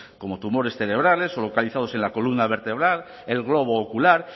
como tumores cerebrales o localizados en la columna vertebral el globo ocular